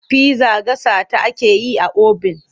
Pizza gasa ta ake yi a obin.